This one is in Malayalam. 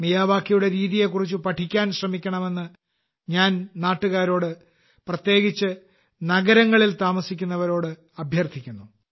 മിയാവാക്കിയുടെ രീതിയെക്കുറിച്ച് പഠിക്കാൻ ശ്രമിക്കണമെന്ന് ഞാൻ എന്റെ നാട്ടുകാരോട് പ്രത്യേകിച്ച് നഗരങ്ങളിൽ താമസിക്കുന്നവരോട് അഭ്യർത്ഥിക്കുന്നു